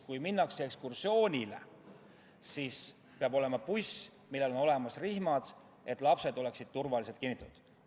Kui minnakse ekskursioonile, siis peab olema buss, millel on olemas rihmad, et lapsed saaksid turvaliselt kinnitatud.